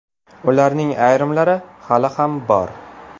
Ularning ayrimlari hali ham bor.